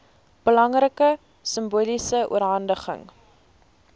belangrike simboliese oorhandiging